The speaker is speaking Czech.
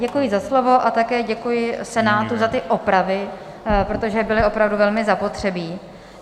Děkuji za slovo a taky děkuji Senátu za ty opravy, protože byly opravdu velmi zapotřebí.